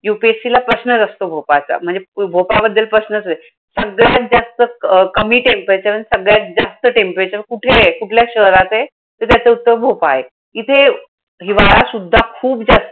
यूपीएससीला प्रश्नच असतो भोपाळचा. म्हणजे भोपाळबद्दल प्रश्नचे. सगळ्यात जास्त क अं कमी temperature आणि सगळ्यात जास्त temperature कुठेय? कुठल्या शहरात आहे. तर त्याचं उत्तर भोपाळ आहे. इथे हिवाळा सुद्धा खूप जा